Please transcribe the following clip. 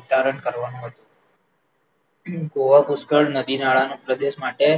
ઉતરાણ કરવાનું હતું ગોવા પુષ્કર નદી નાળાના પ્રદેશ માટે